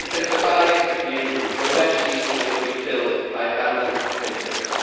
It can survive a few, but eventually it will be killed by a thousand pinpricks.